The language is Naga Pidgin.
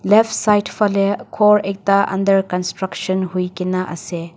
left side falae khor ekta under construction huikae naase.